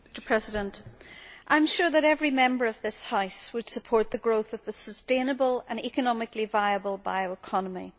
Mr President, I am sure that every Member of this House would support the growth of a sustainable and economically viable bioeconomy.